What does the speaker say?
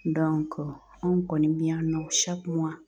anw kɔni be yan nɔ